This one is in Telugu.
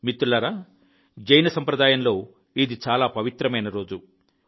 మిత్రులారా జైన సంప్రదాయంలో ఇది చాలా పవిత్రమైన రోజు